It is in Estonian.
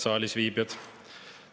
Head saalis viibijad!